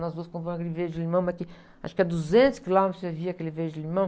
Nós duas comprávamos aquele verde limão, mas que, acho que a duzentos quilômetros você via aquele verde limão.